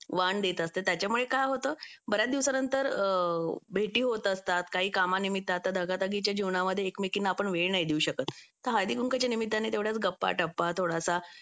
वान देत असते त्याच्यामुळे काय होतं बऱ्याच दिवसानंतर भेटी होत असतात काही कामानिमित्त म्हणजे आता दगादगीच्या जीवनामध्ये एकमेकींना आपण वेळ नाही देऊ शकत तर हळदीकुंकवाच्या निमित्ताने तेवढ्याच गप्पा टप्पा थोडासा